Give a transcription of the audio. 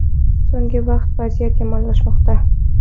So‘nggi vaqt vaziyat yomonlashmoqda.